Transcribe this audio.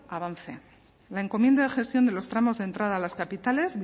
avance la encomienda de gestión de los tramos de entrada a las capitales